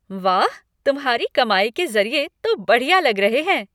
वाह, तुम्हारी कमाई के ज़रिए तो बढ़िया लग रहे हैं।